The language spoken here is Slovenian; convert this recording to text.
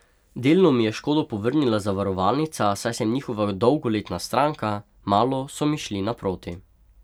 Delno mi je škodo povrnila zavarovalnica, saj sem njihova dolgoletna stranka, malo so mi šli naproti.